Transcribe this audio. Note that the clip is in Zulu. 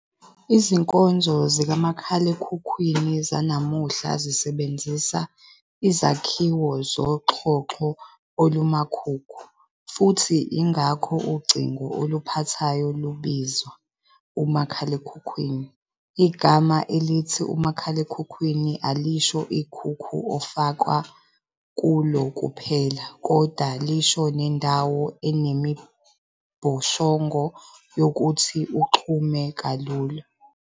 Izinkonzo zikamakhalekhukhwini zanamuhla zisebenzisa izakhiwo zoxhoxho olumakhukhu, futhi, ingakho ucingo oluphathwayo lubizwa "uMakhalekhukhwini." Igama elithi umakhalekhukhwini alisho ikhukhu ofakwa kulo kuphela, kodwa lisho nendawo enemibhoshongo yokuthi uxhume kalula.